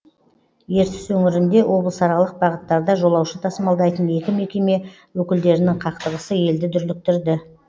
ертіс өңірінде облысаралық бағыттарда жолаушы тасымалдайтын екі мекеме өкілдерінің қақтығысы елді дүрліктірді